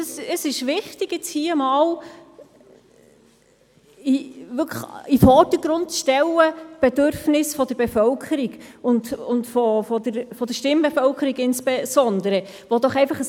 Es ist wichtig, die Bedürfnisse der Bevölkerung, und insbesondere der Stimmbevölkerung, in den Vordergrund zu rücken.